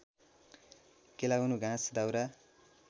केलाउनु घाँस दाउरा